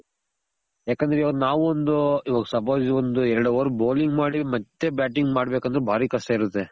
ಯಾಕಂದ್ರೆ ಇವಾಗ್ ನಾವೊಂದು ಇವಾಗ್ suppose ಒಂದ್ ಎರಡ hour bowling ಮಾಡಿ ಮತ್ತೆ batting ಮಾಡ್ಬೇಕಂದ್ರೆ ಬಾರಿ ಕಷ್ಟ ಇರುತ್ತೆ